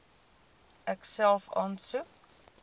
ek self aansoek